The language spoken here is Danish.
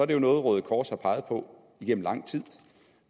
det jo noget røde kors har peget på igennem lang tid